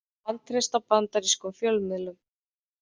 Vantreysta bandarískum fjölmiðlum